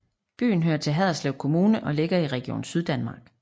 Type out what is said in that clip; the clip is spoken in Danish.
Byen hører til Haderslev Kommune og ligger i Region Syddanmark